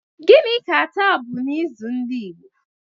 Gini ka ụbọchị taa bụ n' ịzụ ndị Igbo?